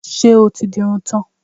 Ṣé o ti di irun tán?